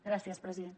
gràcies president